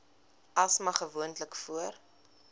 asma gewoonlik voor